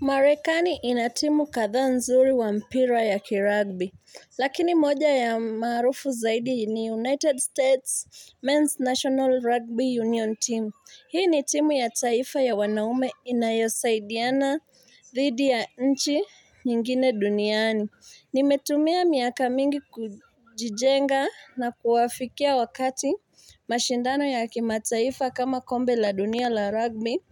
Marekani inatimu kadhaa nzuri wa mpira ya kiragbi. Lakini moja ya maarufu zaidi ni United States Men's National Rugby Union Team. Hii ni timu ya taifa ya wanaume inayosaidiana dhidi ya nchi nyingine duniani. Nimetumia miaka mingi kujijenga na kuwafikia wakati mashindano ya kimataifa kama kombe la dunia la rugby